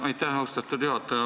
Aitäh, austatud juhataja!